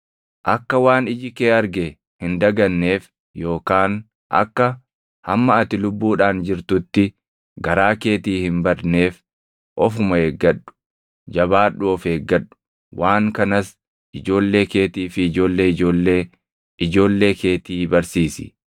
Akka waan iji kee arge hin daganneef yookaan akka hamma ati lubbuudhaan jirtutti garaa keetii hin badneef ofuma eeggadhu; jabaadhuu of eeggadhu. Waan kanas ijoollee keetii fi ijoollee ijoollee ijoollee keetii barsiisi.